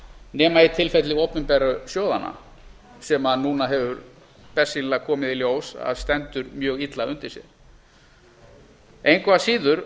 nema í tilfelli opinberu sjóðanna sem núna hefur bersýnilega komið í ljós að stendur mjög illa undir sér engu að síður